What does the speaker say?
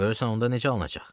Görürsən onda necə alınacaq?